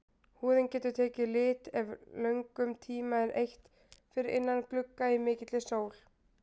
Húðin getur tekið lit ef löngum tíma er eytt fyrir innan glugga í mikilli sól.